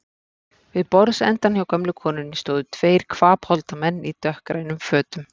Við borðsendann hjá gömlu konunni stóðu tveir hvapholda menn í dökkgrænum fötum.